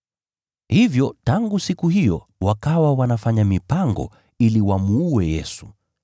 Hivyo tangu siku hiyo wakawa wanafanya mipango ili wamuue Yesu.